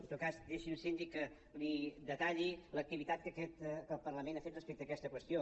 en tot cas deixi’m síndic que li detalli l’activitat que aquest parlament ha fet respecte a aquesta qüestió